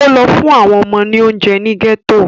Ó lọ fún àwọn ọmọ ní oúnje ní gẹ́tò